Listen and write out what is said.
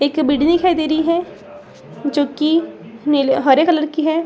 एक बिडिंग दिखाई दे रही है जो कि नीले हरे कलर की है।